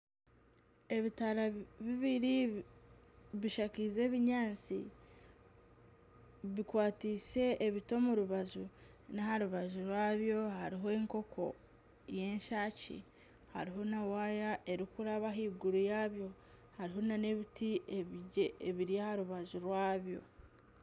Ebitara bibiri bishakize ebinyaatsi bikwatise ebiti omu rubaju n'aha rubaju rwabyo hariho enkoko y'eshaaki hariho na waaya erikuraba ahaiguru yabyo hariho na n'ebiti ebiri aha rubaju rwabyo.